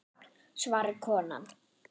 svarar konan.